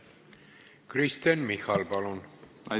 Kristen Michal, palun!